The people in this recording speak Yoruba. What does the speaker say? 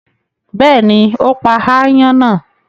Bẹ́ẹ̀ni, ó pa aáyán náà.